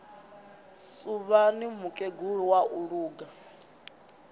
suvhani mukegulu wa u luga